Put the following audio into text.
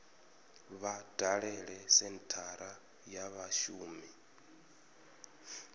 vha dalele senthara ya vhashumi